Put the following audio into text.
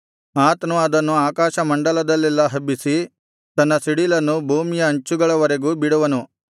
ಆತನು ಅದನ್ನು ಆಕಾಶಮಂಡಲದಲ್ಲೆಲ್ಲಾ ಹಬ್ಬಿಸಿ ತನ್ನ ಸಿಡಿಲನ್ನು ಭೂಮಿಯ ಅಂಚುಗಳವರೆಗೂ ಬಿಡುವನು